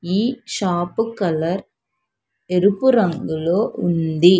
ఈ shop colour ఎరుపు రంగులో ఉంది.